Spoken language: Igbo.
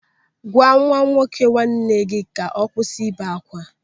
Gwa nwa nwoke nwanne gị ka ọ kwụsị ibe akwa.